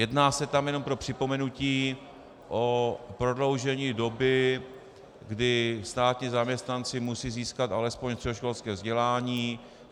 Jedná se tam, jenom pro připomenutí, o prodloužení doby, kdy státní zaměstnanci musí získat alespoň středoškolské vzdělání.